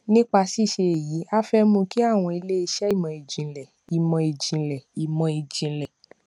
nípa ṣíṣe èyí a fé mú kí àwọn ilé iṣẹ ìmọ ìjìnlẹ ìmọ ìjìnlẹ ìmọ ìjìnlẹ